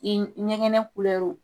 I ɲɛgɛnɛ